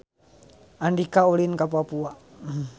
Andika ulin ka Papua